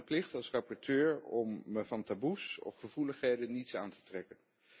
Ik zag het als mijn plicht als rapporteur om me van taboes of gevoeligheden niets aan te trekken.